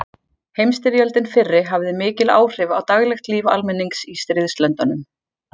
Heimsstyrjöldin fyrri hafði mikil áhrif á daglegt líf almennings í stríðslöndunum.